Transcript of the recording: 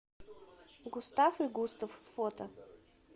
густав и густав фото